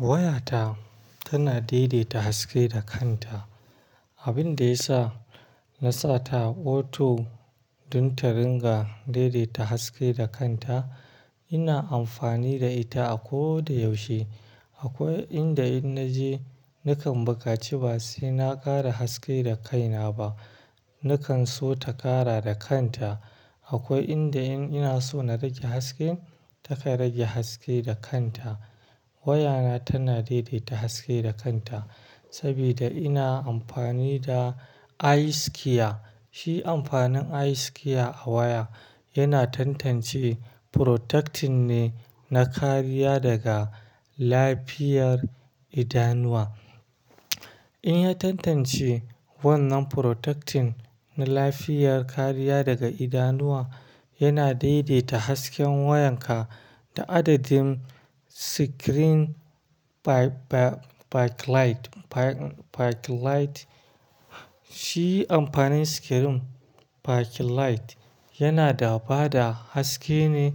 Wayata tana daidaita haske da kanta, abin da ya sa na sa ta auto don ta ringa daidaita haske da kanta. Ina amfani da ita a ko da yaushe. Akwai inda in naje nakan bukaci ba sai na ƙara haske da kaina ba, nakan so ta ƙara da kanta. Akwai inda in ina so na rage haske, ta kai rage haske da kanta. Wayana tana daidaita haske da kanta saboda ina amfani da eye care. Shi amfanin eye care a waya yana tantance protecting ne na kariya daga lafiyar idanuwa. In ya tantance wannan protecting na lafiyar kariya daga idanuwa, yana daidaita hasken wayanka da adadin screen backlight. Shi amfanin screen backlight yana da bada haske ne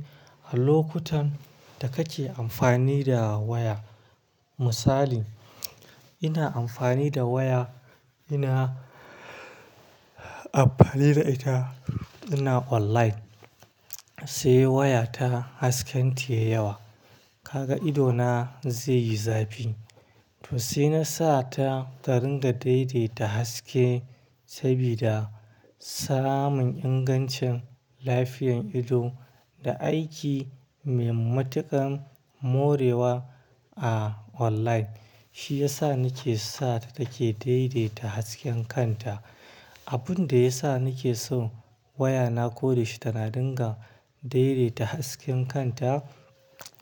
a lokutan da kake amfani da waya. Misali, ina amfani da waya, ina amfani da ita ina online, sai waya ta hasken tayi yawa. Kaga idona zai yi zafi, to sai na sa ta taringa daidaita haske saboda tsaramin ingancin lafiyan ido da aiki mai matuƙan morewa a online. Shi ya sa nake sa ta take daidaita hasken kanta. Abun da ya sa nake so wayana koyaushe tana ringa daidaita hasken kanta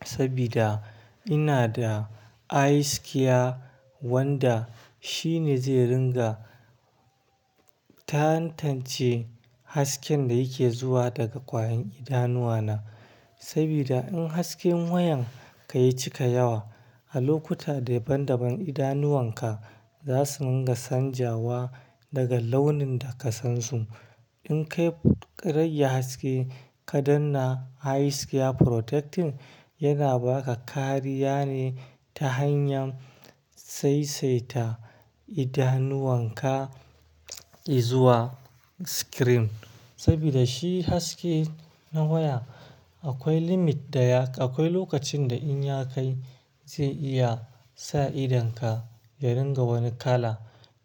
saboda ina da eye care wanda shi ne zai ringa tantance hasken da yake zuwa daga kwayan idanuwana. Saboda in hasken wayan ka yi cika yawa, a lokuta daban-daban idanuwan ka za su ringa canjawa daga launin da ka san su. In kai ƙa rege haske ka danna eye care protecting, yana ba ka kariya ne ta hanyar saisaita idanuwan ka izuwa screen. Saboda shi haske na waya akwai limit da yak-- akwai lokacin da in ya kai zai iya sa idonka ya ringa wani kala.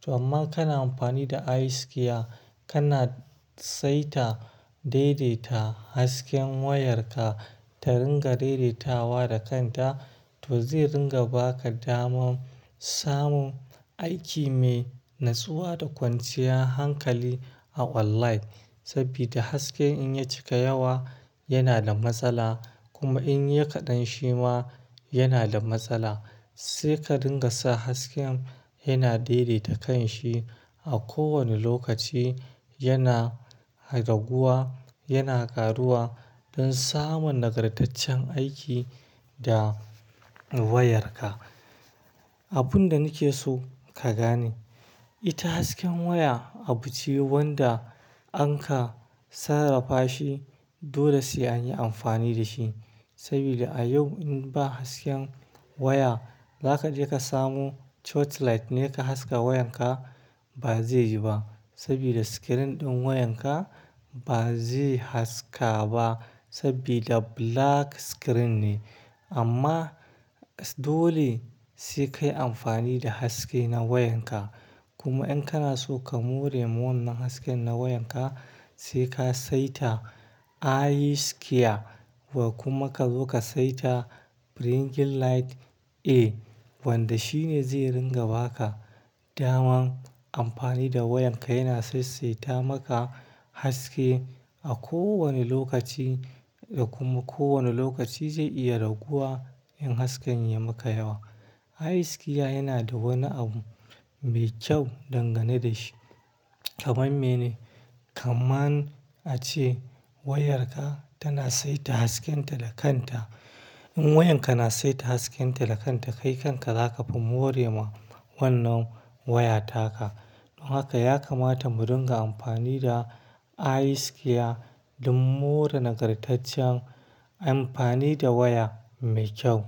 To amma kana amfani da eye care, kana saita daidaita hasken wayarka ta ringa daidaitawa da kanta, to zai ringa ba ka daman samun aiki mai natsuwa da kwanciyar hankali a online. Saboda haske in ya cika yawa yana da matsala, kuma in ya kaɗan shi ma yana da matsala. Sai ka dinga sa hasken yana daidaita kanshi a kowane lokaci yana raguwa, yana ƙaruwa don samun nagartaccen aiki da wayarka. Abun da nake so ka gane, ita hasken waya abu ce wanda an ka sarrafa shi dole sai anyi amfani da shi. Saboda a yau in ba hasken waya, za ka je ka samu torchlight ne ka haska wayan ka? Ba zai yi ba. Saboda screen ɗin wayan ka ba zai haska ba saboda black screen ne. Amma dole sai ka yi amfani da haske na wayan ka. Kuma in kana so ka more wa wannan hasken na wayan ka, sai ka saita eye care, ba kuma ka zo ka saita bringing light a wanda shi ne zai ringa ba ka daman amfani da wayan ka yana saisaita maka haske a kowane lokaci da kuma kowane lokaci zai iya raguwa in hasken ya maka yawa. Eye care yana da wani abu mai kyau dangane da shi. Kaman mene? Kaman ace wayarka tana saita haskenta da kanta. In wayan ka na saita haskenta da kanta, kai kanka za ka fi more ma wannan waya taka. Don haka ya kamata mu ringa amfani da eye care don more nagartaccen amfani da waya mai kyau.